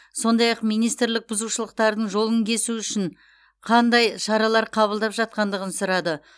сондай ақ министрлік бұзушылықтардың жолын кесу үшін қандай шаралар қабылдап жатқандығын сұрады